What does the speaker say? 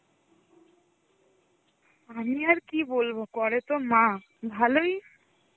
আমি আর কি বলবো, করে তো মা, ভালোই.